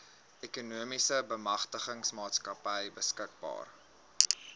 ekonomiese bemagtigingsmaatskappy beskikbaar